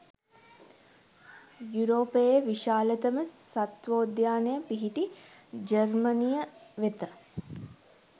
යුරෝපයේ විශාලතම සත්වෝද්‍යානය පිහිටි ජර්මනිය වෙත